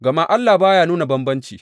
Gama Allah ba ya nuna bambanci.